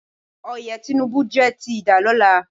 Oyè Tinubu jẹ́ ti ìdálọ́lá.